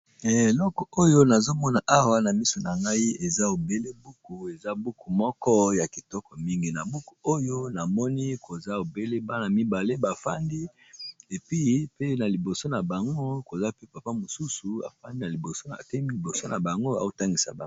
Eloko oyo nazomona awa na miso na ngai eza obele buku eza buku moko ya kitoko mingi. Na buku oyo namoni koza obele bana mibale bafandi na liboso na bango koza pe papa mosusu afandi na liboso, te liboso na bango aotangisa baka.